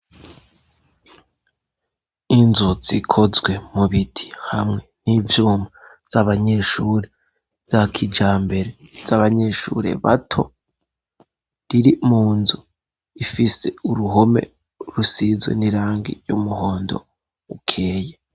Inzu zikozwe mu biti hamwe n'ivyuma z'abanyeshuri za kijambere , z'abanyeshuri bato riri mu nzu ifise uruhome rusizwe n'irangi ry'umuhondo ukeye.